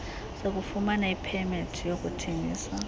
sokufumana ipemethi yokuthengisa